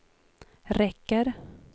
räcker